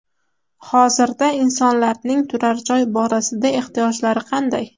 Hozirda insonlarning turar joy borasida ehtiyojlari qanday?